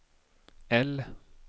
L